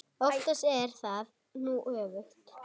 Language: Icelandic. Oftast er það nú öfugt.